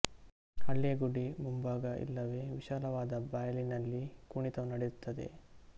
ಹಳ್ಳಿಯ ಗುಡಿ ಮುಂಭಾಗ ಇಲ್ಲವೆ ವಿಶಾಲವಾದ ಬಯಲಿನಲ್ಲಿ ಕುಣಿತವು ನಡೆಯುತ್ತದೆ